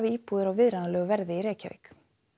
íbúðir á viðráðanlegu verði í Reykjavík